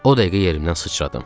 O dəqiqə yerimdən sıçradım.